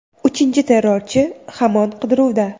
Uchinchi terrorchi hamon qidiruvda.